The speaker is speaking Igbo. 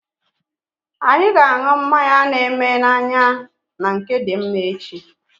Anyị ga anụ mmanya na eme na anya na nke Dimma echi